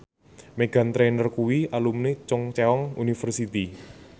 Meghan Trainor kuwi alumni Chungceong University